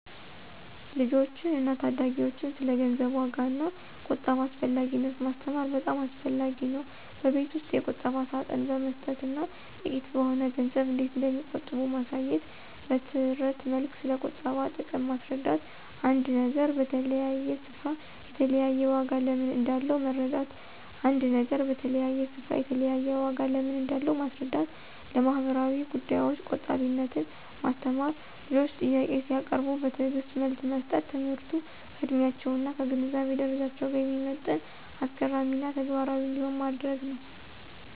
ልጆችን እና ታዳጊዎችን ስለ ገንዘብ ዋጋ እና ቁጠባ አስፈላጊነት ማስተማር በጣም አስፈላጊ ነው። በቤት ውስጥ የቁጠባ ሳጥን በመስጠት እና ጥቂት በሆነ ገንዘብ እንዴት እንደሚቆጥቡ ማሳየት። በትረት መልክ ስለቁጠባ ጥቅም ማስረዳት። አንድ ነገር በተለያየ ስፍራ የተለያየ ዋጋ ለምን እንዳለው መረዳት ·አንድ ነገር በተለያየ ስፍራ የተለያየ ዋጋ ለምን እንዳለው ማስረዳት። ለማህበራዊ ጉዳዮች ቆጣቢነትን ማስተማር። ልጆች ጥያቄ ሲያቀርቡ በትዕግስት መልስ መስጠት። ትምህርቱ ከዕድሜያቸው እና ከግንዛቤ ደረጃቸው ጋር የሚመጥን፣ አስገራሚ እና ተግባራዊ እንዲሆን ማድረግ ነው።